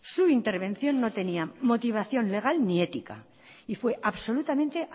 su intervención no tenía motivación legal ni ética y fue absolutamente